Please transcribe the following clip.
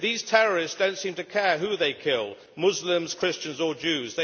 These terrorists do not seem to care who they kill Muslims, Christians or Jews.